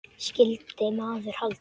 Skyldi maður halda.